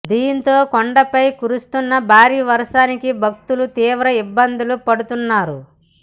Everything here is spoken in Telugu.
దీంతో కొండపై కురుస్తున్నభారీ వర్షానికి భక్తులు తీవ్ర ఇబ్బందులు పడుతున్నారు